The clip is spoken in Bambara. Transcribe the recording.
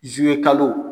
Zimekalo